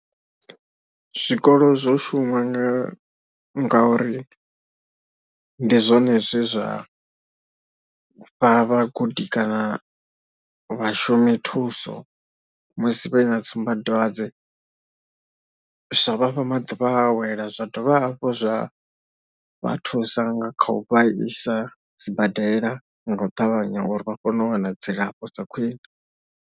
Zwikolo zwo shuma nga ngauri ndi zwone zwe zwa vha vhagudi kana vhashumithuso musi vhe na tsumbadwadze zwa vha fha maḓuvha a u awela, zwa dovha hafhu zwa vha thusa nga kha u vha isa sibadela nga u ṱavhanya uri vha kone u wana dzilafho dza khwiṋe.